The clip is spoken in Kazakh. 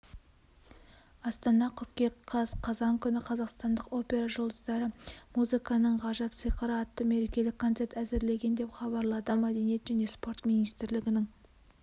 астана қыркүйек қаз қазан күні қазақстандық опера жұлдыздары музыканың ғажап сиқыры атты мерекелік концерт әзірлеген деп хабарлады мәдениет және спорт министрлігінің